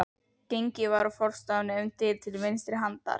Gengið var úr forstofunni um dyr til vinstri handar.